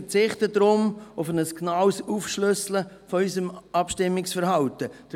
Ich verzichte deshalb auf ein genaues Aufschlüsseln unseres Abstimmungsverhaltens.